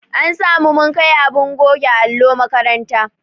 An sa mu mun kai abin goge allo makaranta.